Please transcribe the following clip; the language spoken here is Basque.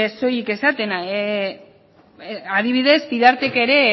soilik esaten adibidez vidartek ere